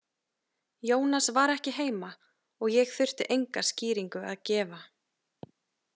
Jónas var ekki heima og ég þurfti enga skýringu að gefa.